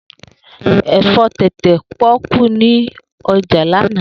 Efo tete poku ni oja lana.